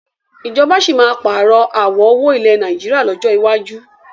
Ìjọba síí má pààrọ̀ àwọ̀ owó ilẹ̀ Nàìjíríà lọ́jọ́ iwájú